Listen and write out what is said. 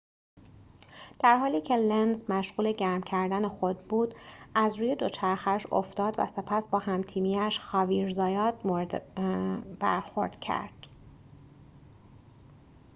در حالی که لنز مشغول گرم کردن خود بود از روی دوچرخه‌اش افتاد و سپس با هم‌تیمی‌اش خاویر زایات مورد برخورد کرد